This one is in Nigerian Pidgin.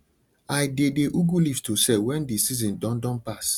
i dey dey ugu leaves to sell when the season don don pass